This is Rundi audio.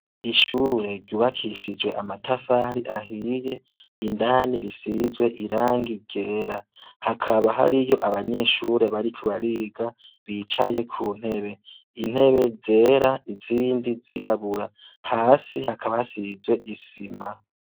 Ishure ryubakishijwe amatafari ahiye, indani risizwe irangi ryera, hakaba hariyo abanyeshure bariko bariga bicaye ku ntebe. Intebe zera izindi zirabura. Hasi hakaba hasizwe isima.